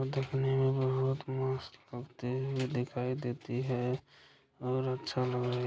देखने में बहुत मस्त लगते है दिखाई देती है बहुत अच्छा लग रहा है देखने में---